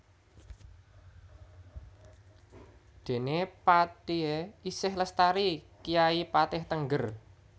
Déné patihé isih lestari kyai patih Tengger